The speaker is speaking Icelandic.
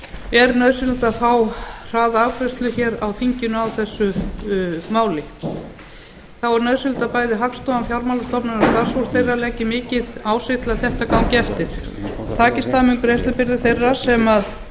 er nauðsynlegt að það fái hraða afgreiðslu á þinginu þá er nauðsynlegt að hagstofan fjármálastofnanir og starfsfólk þeirra leggi mikið á sig til að þetta gangi eftir takist það mun greiðslubyrði þeirra sem